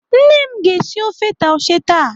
Nne m ga-esi ofe taushe taa.